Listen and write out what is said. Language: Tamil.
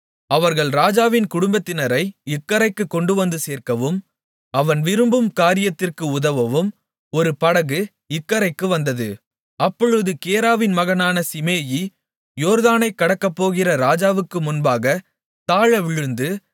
அவர்கள் ராஜாவின் குடும்பத்தினரை இக்கரைக்கு கொண்டுவந்து சேர்க்கவும் அவன் விரும்பும் காரியத்திற்கு உதவவும் ஒரு படகு இக்கரைக்கு வந்தது அப்பொழுது கேராவின் மகனான சீமேயி யோர்தானைக் கடக்கப்போகிற ராஜாவுக்கு முன்பாகத் தாழவிழுந்து